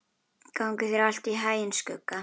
Gangi þér allt í haginn, Skugga.